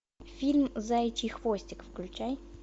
фильм заячий хвостик включай